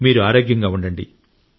మీరు ఆరోగ్యంగా ఉండండి